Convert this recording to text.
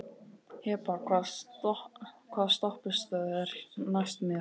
Hebba, hvaða stoppistöð er næst mér?